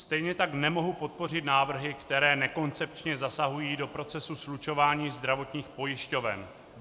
Stejně tak nemohu podpořit návrhy, které nekoncepčně zasahují do procesu slučování zdravotních pojišťoven.